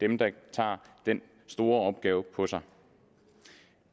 tak jeg